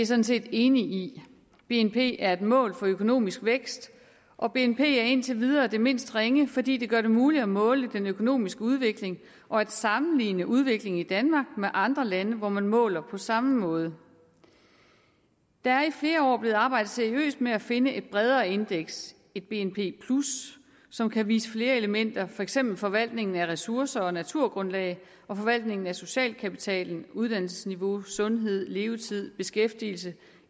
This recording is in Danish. sådan set enig i bnp er et mål for økonomisk vækst og bnp er indtil videre det mindst ringe fordi det gør det muligt at måle den økonomiske udvikling og at sammenligne udviklingen i danmark med andre lande hvor man måler på samme måde der er i flere år blevet arbejdet seriøst med at finde et bredere indeks et bnp plus som kan vise flere elementer for eksempel forvaltningen af ressourcer og naturgrundlag og forvaltningen af social kapital uddannelsesniveau sundhed levetid beskæftigelse